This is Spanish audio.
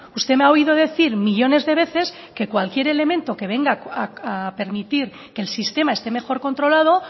usted me ha oído decir millónes de veces que cualquier elemento que venga a permitir que el sistema esté mejor controlado